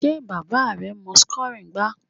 Sé bàbá rẹ mọ́ soccer gbá?